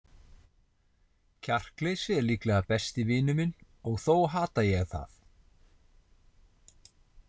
Kjarkleysið er líklega besti vinur minn og þó hata ég það.